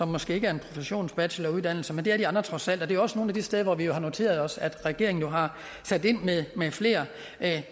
måske ikke er en professionsbacheloruddannelse men det er de andre trods alt det er jo også nogle af de steder hvor vi har noteret os at regeringen har sat ind med flere